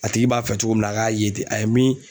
A tigi b'a fɛ cogo min na a k'a ye ten a ye min